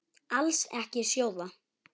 Alls ekki sjóða.